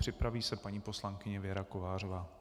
Připraví se paní poslankyně Věra Kovářová.